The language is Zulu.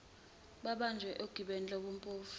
babanjwe ogibeni lobumpofu